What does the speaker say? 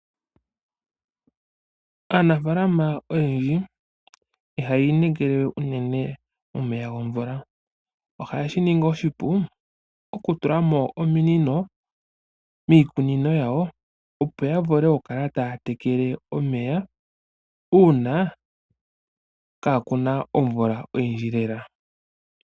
Aanafaalama oyendji ihaa inekele we unene omeya gomvula. Ohaa tula mo ominino miikunino yawo, opo ya vule oku kala taa tekele omeya uuna kaa ku na omvula oyindji.